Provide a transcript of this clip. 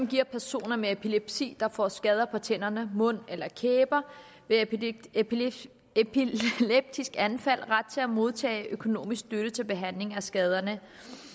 giver personer med epilepsi der får skader på tænderne mund eller kæber ved et epileptisk epileptisk anfald ret til at modtage økonomisk støtte til behandling af skaderne